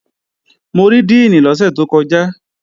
Mo rí díìnì lọ́sẹ̀ tó kọjá